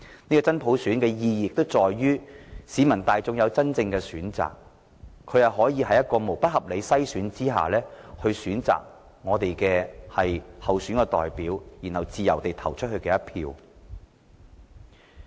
這真普選的意義在於市民大眾擁有真正的選擇，在沒有不合理篩選的情況下，選擇我們的候選代表，然後自由地投下一票。